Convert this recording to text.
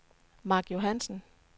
Mark Johansen